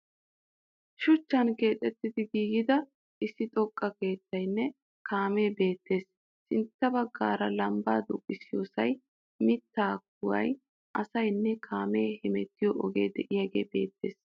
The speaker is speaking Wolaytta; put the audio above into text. Shuchchan keexettida giigida issi xoqqa keettayinne kaamee beettees. Sintta baggaara lambbaa duuqiyosayi, mittaa kuwayi , asayinne kaame hemettiyo ogee de'iyagee beettes.